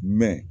Mɛ